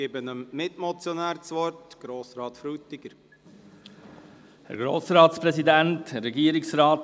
Ich gebe dem Mitmotionär, Grossrat Frutiger, das Wort.